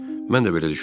Mən də belə düşünürdüm.